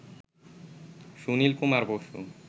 Sunil Kumar Basu